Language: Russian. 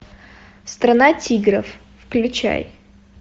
страна тигров включай